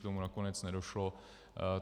K tomu nakonec nedošlo.